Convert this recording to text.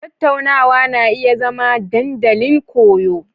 Tattaunawa na iya zama dandalin koyo.